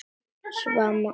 Sama var honum.